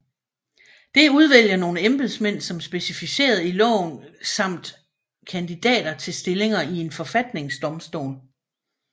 Det udvælger nogle embedsmænd som specificeret i loven samt kandidater til stillinger i en forfatningsdomstol